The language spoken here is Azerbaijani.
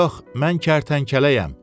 Yox, mən kərtənkələyəm.